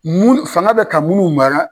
Mun , fanga bɛ ka munnu mara